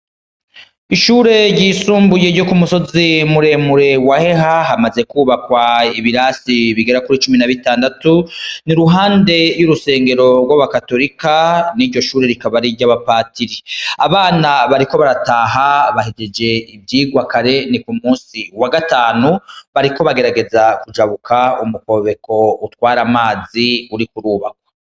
Ishure ryisumbuye ryo ku musozi muemure wa heha hamaze kwubakwa ibirasi bigera kuri cumi na b'itandatu ni ruhande y'urusengero rw'abakatorika n'iryo shure rikaba riryo abapatiri abana bariko barataha bahejeje ivyirwakare ni ku musi wa gatanu bariko bagerageza kujabuka umukobeko utwara amazi uri kurubakwo.